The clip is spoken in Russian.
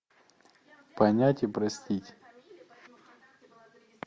понять и простить